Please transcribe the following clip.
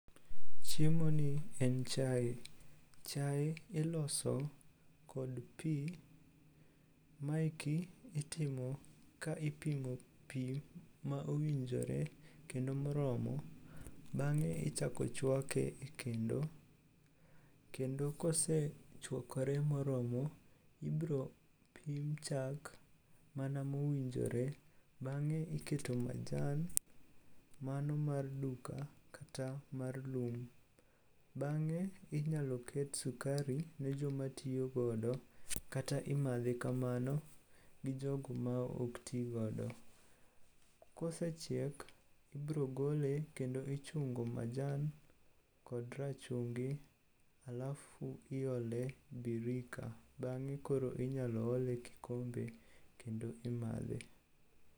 Chiemoni en chae. Chae iloso kod pi, maeki itimo ka ipimo pi ma owinjore kendo moromo, bang'e ichako chwake e kendo kendo kosechwakore moromo ibropim chak mana mowinjore bang'e iketo majan mano mar duka kata mar lum. Bang'e inyalo ket sukari ne jomatiyogodo kata imadhe kamano gi jogo ma ok tigodo. Kosechiek, ibrogole kendo ichungo majan kod rachungi alafu iole birika bang'e koro inyalo ole kikombe kendo imadhe.